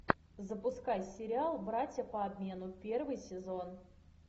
запускай сериал братья по обмену первый сезон